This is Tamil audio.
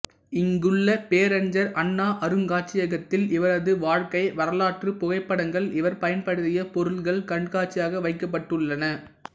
இங்குள்ள பேரறிஞர் அண்ணா அருங்காட்சியகத்தில் இவரது வாழ்க்கை வரலாற்றுப் புகைப்படங்கள் இவர் பயன்படுத்திய பொருட்கள் கண்காட்சியாக வைக்கப்பட்டுள்ளன